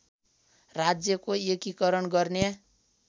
राज्यको एकीकरण गर्ने